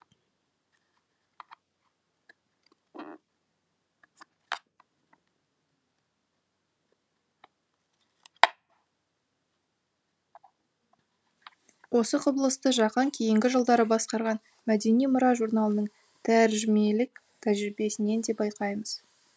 осы құбылысты жақаң кейінгі жылдары басқарған мәдени мұра журналының тәржімелік тәжірибесінен де байқаймыз